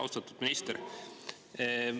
Austatud minister!